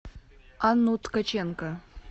анну ткаченко